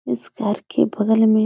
इस घर के बगल में --